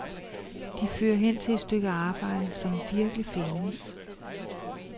De fører hen til et stykke arbejde, som virkelig findes.